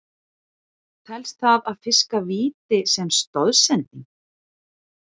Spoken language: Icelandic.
Telst það að fiska víti sem stoðsending?